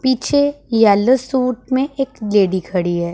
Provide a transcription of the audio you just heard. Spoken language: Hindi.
पीछे येलो सूट में एक लेडी खड़ी है।